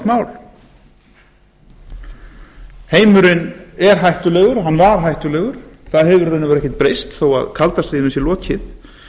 mál heimurinn er hættulegur og hann var hættulegur það hefur í raun og veru ekkert breyst þó að kalda stríðinu sé lokið